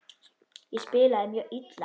Ég spilaði mjög illa.